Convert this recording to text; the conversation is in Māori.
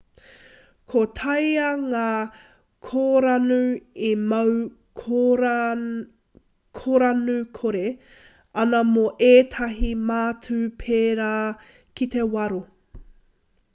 ka taea ngā kōranu e mau kōranu-kore ana mō ētahi mātū pērā ki te waro